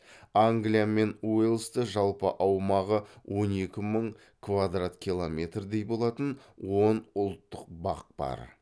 англия мен уэльсте жалпы аумағы он екі мың квадрат километрдей болатын он ұлттық бақ бар